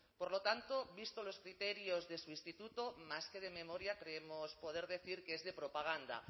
por lo tanto visto los criterios de su instituto más que de memoria creemos poder decir que es de propaganda